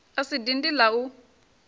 a si dindi la u